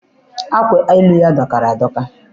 Akwa elu ya dọkara adọka.